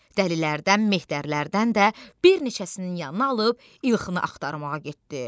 Dəlilərdən, Mehterlərdən də bir neçəsinin yanına alıb İlkhını axtarmağa getdi.